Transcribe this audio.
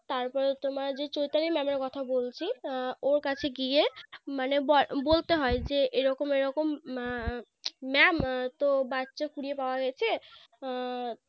তারপরে তোমার যে Choitali Mam এর কথা বলছি আহ ওর কাছে গিয়ে মানে ব~ বলতে হয় যে এরকম এরকম Ma~ Mam তো বাচ্চা কুড়িয়ে পাওয়া গেছে আহ